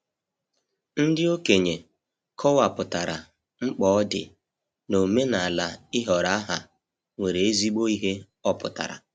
Ndị okenye kọwapụtara, mkpa ọ dị n'omenala ịhọrọ aha nwere ezigbo ihe ọpụtara.